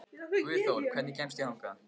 Guðþór, hvernig kemst ég þangað?